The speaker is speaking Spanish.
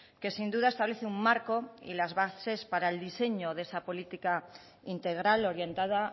que sin duda establece un marco y las bases para el diseño de esa política integral orientada